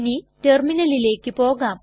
ഇനി റ്റെർമിനലിലെക് പോകാം